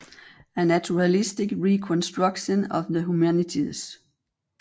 A naturalistic reconstruction of the humanities